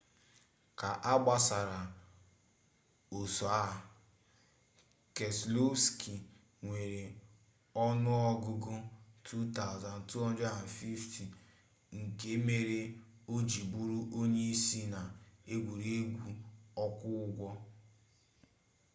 ka agbasiri oso a keselowski nwere onuogugu 2,250 nke mere oji buru onye isi na egwuregwu okwo ugbo